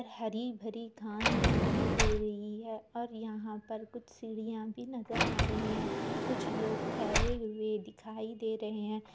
हरी-भरी घास दिखाई दे रही है और यहाँ पर कुछ सीढ़ियां भी नजर आ रही है कुछ लोग ठहरे हुए दिखाई दे रहे है।